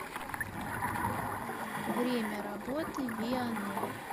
время работы вианор